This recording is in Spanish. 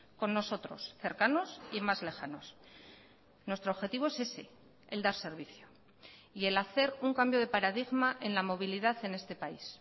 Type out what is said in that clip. con nosotros cercanos y más lejanos nuestro objetivo es ese el dar servicio y el hacer un cambio de paradigma en la movilidad en este país